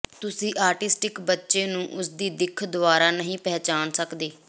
ਤੁਸੀਂ ਆਟੀਸਟਿਕ ਬੱਚੇ ਨੂੰ ਉਸਦੀ ਦਿੱਖ ਦੁਆਰਾ ਨਹੀਂ ਪਛਾਣ ਸਕਦੇ